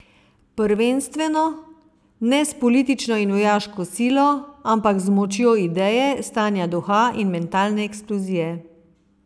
Prvenstveno ne s politično in vojaško silo, ampak z močjo ideje, stanja duha in mentalne eksplozije.